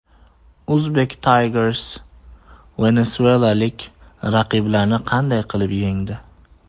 Uzbek Tigers venesuelalik raqiblarini qanday qilib yengdi?